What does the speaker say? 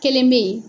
Kelen bɛ ye